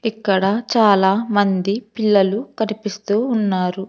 ఇక్కడ చాలా మంది పిల్లలు కనిపిస్తూ ఉన్నారు.